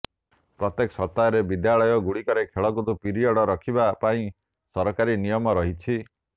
ପ୍ରତ୍ୟେକ ସପ୍ତାହରେ ବିଦ୍ୟାଳୟ ଗୁଡ଼ିକରେ ଖେଳକୁଦ ପିରିୟଡ଼ ରଖିବା ପାଇଁ ସରକାରୀ ନିୟମ ରହିଛି